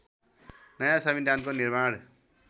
नयाँ संविधानको निर्माण